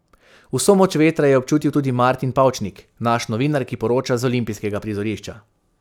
Vso moč vetra je občutil tudi Martin Pavčnik, naš novinar, ki poroča z olimpijskega prizorišča.